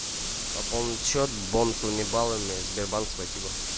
пополнить счет бонусными баллами сбербанк спасибо